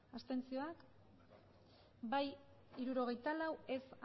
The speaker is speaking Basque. abstenzioak emandako botoak hirurogeita hamabost bai hirurogeita lau ez